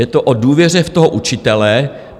Je to o důvěře v toho učitele.